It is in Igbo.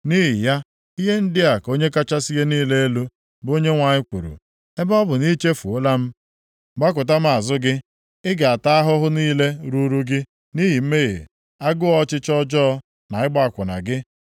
“Nʼihi ya, ihe ndị a ka Onye kachasị ihe niile elu, bụ Onyenwe anyị kwuru: Ebe ọ bụ na i chefuola m, gbakụta m azụ gị, ị ga-ata ahụhụ niile ruuru gị nʼihi mmehie, agụụ ọchịchọ ọjọọ na ịgba akwụna gị.”